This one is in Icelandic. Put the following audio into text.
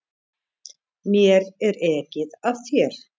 Mér er ekið af þér.